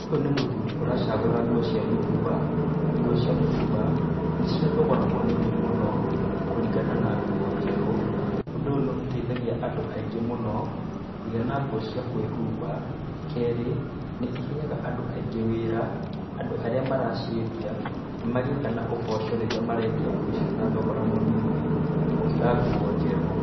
Uyũ nĩ mũthuri ũracagura ngũo cĩa mũtũmba. Ngũo cĩa mũtũmba nĩ cĩa thogora mũnĩni mũno kũringana na ngũo njerũ. Ũndũ ũyũ nĩ ũteĩthagia andũ aĩngĩ mũno kũgia na ngũo cĩa kwĩhũmba, keri nĩ ĩheaga andũ aĩngĩ wĩra. Andũ arĩa maracĩendia magĩe na ũboco rĩria marendia ngũo ĩcĩo na thogora mũnĩni, gũkira ngũo njerũ .